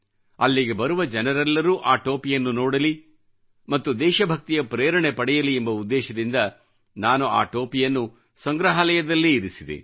ಅಲ್ಲಿಗೆ ಬರುವ ಜನರೆಲ್ಲರೂ ಆ ಟೋಪಿಯನ್ನು ನೋಡಲಿ ಮತ್ತು ದೇಶಭಕ್ತಿಯ ಪ್ರೇರಣೆ ಪಡೆಯಲಿ ಎಂಬ ಉದ್ದೇಶದಿಂದ ನಾನು ಆ ಟೋಪಿಯನ್ನು ಸಂಗ್ರಹಾಲಯದಲ್ಲೇ ಇರಿಸಿದೆ